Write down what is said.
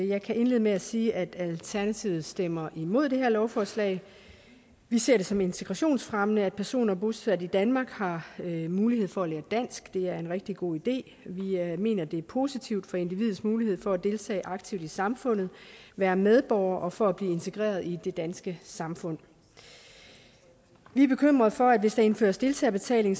jeg kan indlede med at sige at alternativet stemmer imod det her lovforslag vi ser det som integrationsfremmende at personer bosat i danmark har mulighed for at lære dansk det er en rigtig god idé vi mener det er positivt for individets mulighed for at deltage aktivt i samfundet være medborger og for at blive integreret i det danske samfund vi er bekymret for at hvis der indføres deltagerbetaling